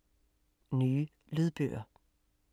Nye lydbøger